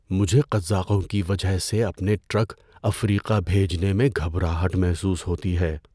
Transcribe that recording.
مجھے قزاقوں کی وجہ سے اپنے ٹرک افریقہ بھیجنے میں گھبراہٹ محسوس ہوتی ہے۔